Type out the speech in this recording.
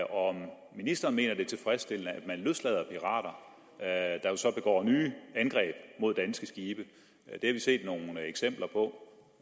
om ministeren mener at det er tilfredsstillende at man løslader pirater der jo så begår nye angreb mod danske skibe det har vi set nogle eksempler på